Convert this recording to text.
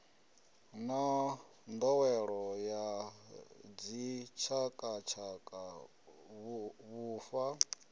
na nḓowelo ya dzitshakatshaka vhufa